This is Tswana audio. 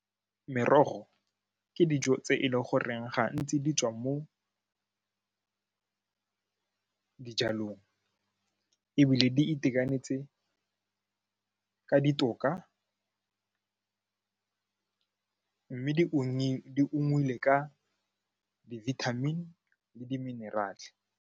Merogo ke dijo tse e leng goreng gantsi di tswa mo dijalong ebile di itekanetse ka ditoka mme di ungwile ka di-vitamin le di-mineral-e.